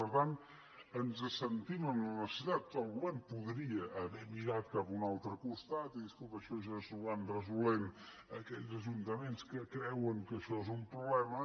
per tant ens en sentim amb la necessitat el govern podria haver mirat cap a un altre costat i dir escolta això ja s’ho van resolent aquells ajuntaments que creuen que això és un problema